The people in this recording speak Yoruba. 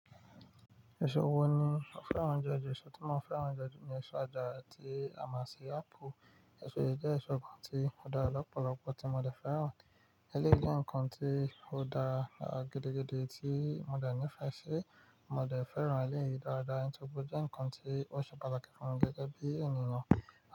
Èso wo ni o fẹ́ràn jeju? Èso tí mo fẹ́ràn jeju ni èso àjàra ti a mọ ṣi ápù. Èso yìí jẹ́ èso kan tí ó dára lọ́pọ̀lọpọ̀ tí mo dẹ̀ fẹ́ràn. Eléyìí je nǹkan tí ó dára gidigidi tí mo dẹ̀ nífẹ̀ẹ́ ṣi, mo dẹ̀ fẹ́ràn eléyìí dáadáa, nítorí pé ó jẹ́ nǹkan tí ó ṣe pataki fún mi gegẹ bí ènìyàn.